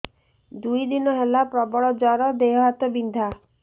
ଦୁଇ ଦିନ ହେଲା ପ୍ରବଳ ଜର ଦେହ ହାତ ବିନ୍ଧା